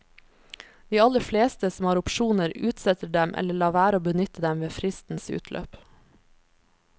De aller fleste, som har opsjoner, utsetter dem eller lar være å benytte dem ved fristens utløp.